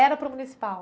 Era para o municipal?